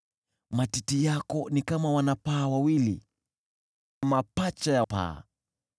Matiti yako ni kama wana-paa wawili, mapacha wa paa.